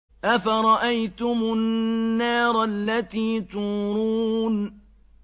أَفَرَأَيْتُمُ النَّارَ الَّتِي تُورُونَ